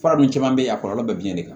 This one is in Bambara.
Fura dun caman bɛ yen a kɔlɔlɔ bɛ biɲɛ de kan